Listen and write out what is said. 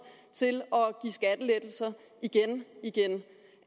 til igen igen